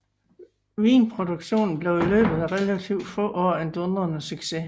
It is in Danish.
Vinproduktionen blev i løbet af relativt få år en dundrende succes